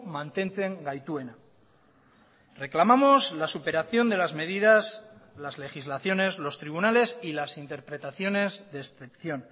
mantentzen gaituena reclamamos la superación de las medidas las legislaciones los tribunales y las interpretaciones de excepción